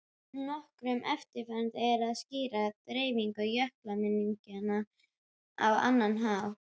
Nokkru erfiðara er að skýra dreifingu jökulminjanna á annan hátt.